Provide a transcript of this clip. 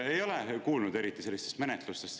Ei ole kuulnud eriti sellistest menetlustest.